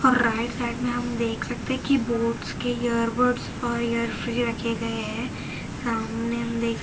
right side में हम देख सकते कि बोट्स के इयरबड्स और ईयर फ्री रखे गए है सामने हम देख--